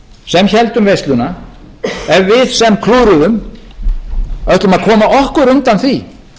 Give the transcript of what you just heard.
sem héldum veisluna ef við sem klúðruðum ætlum að koma okkur undan því